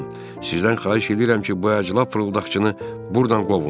Sizdən xahiş edirəm ki, bu əclaf fırıldaqçını burdan qovun.